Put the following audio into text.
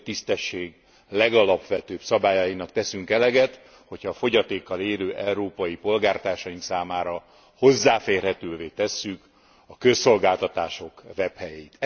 Az emberi tisztesség legalapvetőbb szabályainak teszünk eleget, hogyha a fogyatékkal élő európai polgártársaink számára hozzáférhetővé tesszük a közszolgáltatások webhelyeit.